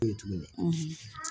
E ye tu